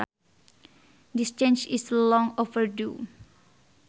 This change is long overdue